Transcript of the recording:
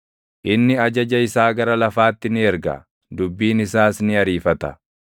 Inni ajaja isaa gara lafaatti ni erga; dubbiin isaas ni ariifata.